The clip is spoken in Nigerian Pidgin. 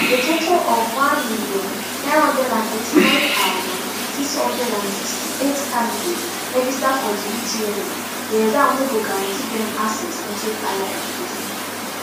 a total of one million, nine hundred and eighty-nine thousand, six hundred and sixty-eight candidates register for di utme di exam wey go guarantee dem access into higher education